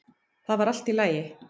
Það var allt í lagi.